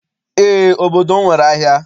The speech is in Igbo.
Eé, obodo m nwere ahịa.